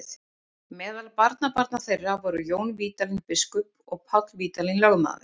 Meðal barnabarna þeirra voru Jón Vídalín biskup og Páll Vídalín lögmaður.